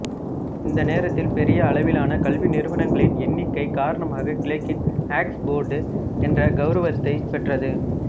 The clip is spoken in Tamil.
இந்த நேரத்தில் பெரிய அளவிலான கல்வி நிறுவனங்களின் எண்ணி்க்கை காரணமாக கிழக்கின் ஆக்ஸ்போர்டு என்ற கௌரவத்தைப் பெற்றது